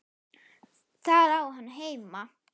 Þar á hann heima.